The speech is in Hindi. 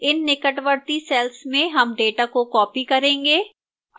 इन निकटवर्ती cells में हम data को copy करेंगे